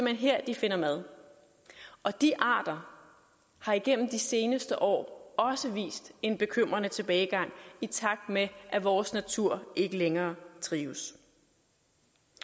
hen her de finder mad og de arter har igennem de seneste år også vist en bekymrende tilbagegang i takt med at vores natur ikke længere trives